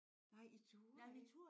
Nej I turde ikke